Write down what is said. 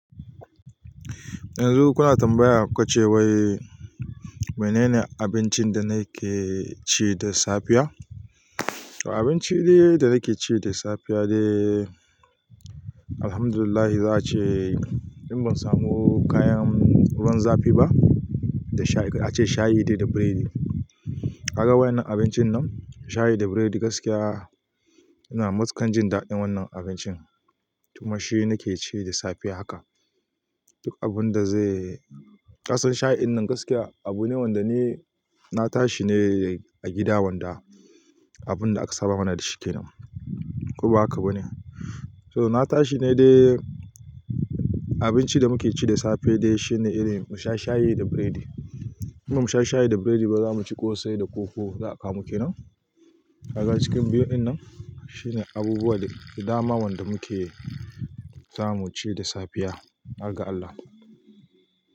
Yanzu kuna tambaya kuce wai menene abincin da na ke ci da safiya? Abinci dai da nake ci da safiya dai, Alhamdulillah za a ce in ban samu kayan wurin zafi ba, da sha a ce shayi dai da biredi. Kaga wannan abincin nan, shayi da biredi gaskiya ina matuƙan jin daɗin wannan abincin, kuma shi ne nake ci da safe haka. Duk abun da zai kasan shayin nan gaskiya abu ne wanda ni na tashi ne a gida wanda abun da aka saba mana da shi kenan, ko ba haka ba ne. So na tashi ne dai abinci da muke ci da safe dai shine irin mu sha shayi da biredi. In ba mu sha shayi da biredi ba, za mu ci kosai da koko za a kawo mu kenan. Kaga cikin biyun nan shine abubuwa da dama wanda muke zamu ci da safiya, har ga Allah.